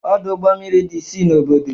Ọdụ ụgbọ mmiri dị isii n'obodo